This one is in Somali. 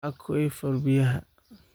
Aquifer biyaha